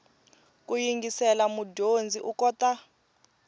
ku yingisela mudyondzi u kota